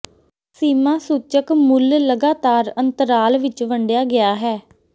ਸੀਮਾ ਸੂਚਕ ਮੁੱਲ ਲਗਾਤਾਰ ਅੰਤਰਾਲ ਵਿੱਚ ਵੰਡਿਆ ਗਿਆ ਹੈ